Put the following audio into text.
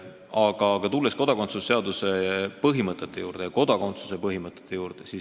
Aga tulen nüüd kodakondsuse seaduse põhimõtete, üldse kodakondsuse põhimõtete juurde.